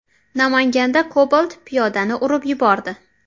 Namanganda Cobalt piyodani urib yubordi.